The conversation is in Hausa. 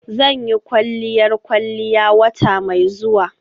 Zan yi kwalliyar kwalliya wata mai zuwa.